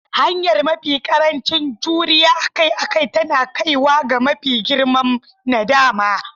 Hanyar mafi ƙarancin juriya akai-akai tana kaiwa ga mafi girman nadama.